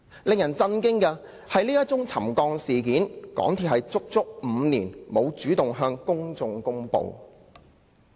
令人震驚的是，香港鐵路有限公司足足5年沒有主動向公眾公布這宗沉降事件。